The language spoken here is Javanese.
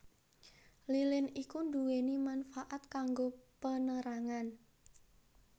Lilin iku nduweni manfaat kanggo penerangan